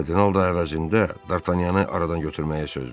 Kardinal da əvəzində Dartanyanı aradan götürməyə söz verdi.